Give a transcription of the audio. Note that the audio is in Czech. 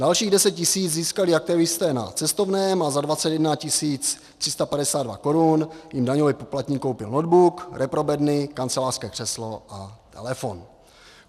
Dalších 10 000 získali aktivisté na cestovném a za 21 352 korun jim daňový poplatník koupil notebook, reprobedny, kancelářské křeslo a telefon.